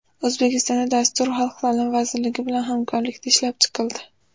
O‘zbekistonda dastur Xalq ta’limi vazirligi bilan hamkorlikda ishlab chiqildi.